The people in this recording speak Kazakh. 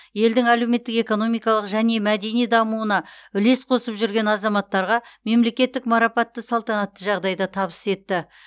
елдің әлеуметтік экономикалық және мәдени дамуына үлес қосып жүрген азаматтарға мемлекеттік марапатты салтанатты жағдайда табыс етті